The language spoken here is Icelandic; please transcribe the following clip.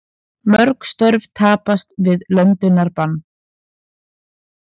Mörg störf tapast við löndunarbann